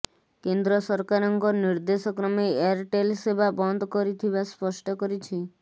କେନ୍ଦ୍ର ସରକାରଙ୍କ ନିର୍ଦ୍ଦେଶ କ୍ରମେ ଏୟାରଟେଲ ସେବା ବନ୍ଦ କରିଥିବା ସ୍ପଷ୍ଟ କରିଛି